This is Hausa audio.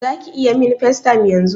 Zaki iya min FaceTime yanzun?